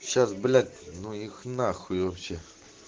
сейчас блять ну их нахуй вообще